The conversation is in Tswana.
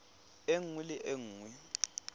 e nngwe le e nngwe